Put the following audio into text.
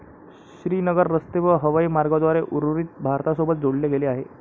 श्रीनगर रस्ते व हवाई मार्गांद्वारे उर्वरित भारतासोबत जोडले गेले आहे.